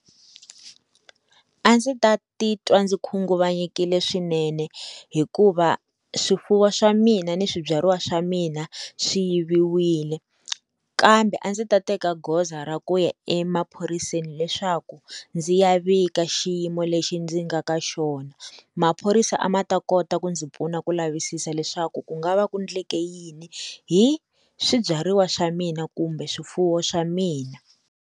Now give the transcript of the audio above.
A ndzi ta titwa ndzi khunguvanyekile swinene hikuva swifuwo swa mina ni swibyariwa swa mina swi yiviwile kambe a ndzi ta teka goza ra ku ya emaphoriseni leswaku ndzi ya vika xiyimo lexi ndzi nga ka xona maphorisa a ma ta kota ku ndzi pfuna ku lavisisa leswaku ku nga va ku endleke yini hi swibyariwa swa mina kumbe swifuwo swa mina.